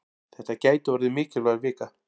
Þetta gæti orðið mikilvæg vika.